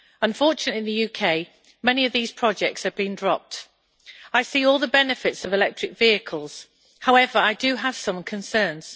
Unfortunately, many of these projects have been dropped in the UK. I see all the benefits of electric vehicles however, I do have some concerns.